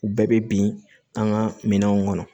U bɛɛ bɛ bin an ka minɛnw kɔnɔ